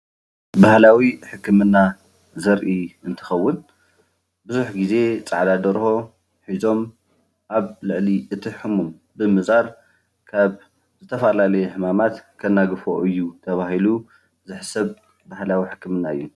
ባህላዊ ሕክምና ዘርኢ እንትኸውን ቡዙሕ ግዜ ፃዕዳ ደርሆ ሒዞም ኣብ ልዕሊ እቲ ሕሙም ርእሱ ብምዛር ካብ ዝተፈላለዩ ሕማማት ከናግፍዎ እዩ ተባሂሉ ዝሕሰብ ባህላዊ ህክምና እዩ።